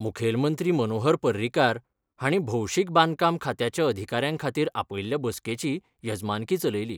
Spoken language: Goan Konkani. मुखेलमंत्री मनोहर पर्रीकार हांणी भौशीक बांदकाम खात्याच्या अधिकाऱ्यां खातीर आपयल्ल्या बसकेची येजमानकी चलयली.